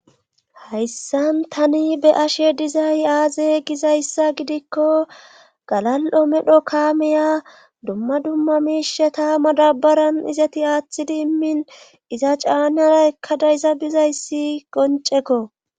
Hayssan tani be ashe dizay aaze gizayssa gidikko galal7o medho kaameya dumma dumma miishe ta madabaran izati aaththidi immin iza caane hala ekkada iza bizayssi qoncekko